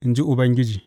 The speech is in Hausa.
in ji Ubangiji.